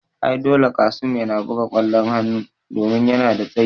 Ai dole Qassim yana buga kwallon hanu domin yana da tsayi